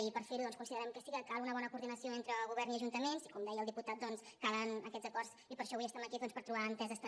i per fer ho doncs considerem que sí que cal una bona coordinació entre govern i ajuntaments i com deia el diputat doncs calen aquests acords i per això avui estem aquí per trobar enteses també